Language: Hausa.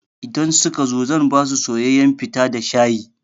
Idan suka zo zan basu soyayyan fita da shayi.